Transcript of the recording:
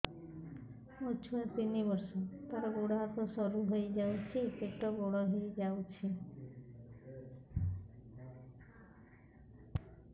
ମୋ ଛୁଆ ତିନି ବର୍ଷ ତାର ଗୋଡ ହାତ ସରୁ ହୋଇଯାଉଛି ପେଟ ବଡ ହୋଇ ଯାଉଛି